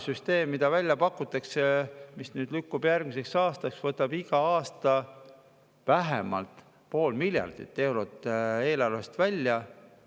Süsteem, mida välja pakutakse ja mis nüüd lükkub järgmisesse aastasse, võtab igal aastal vähemalt pool miljardit eurot eelarvest välja.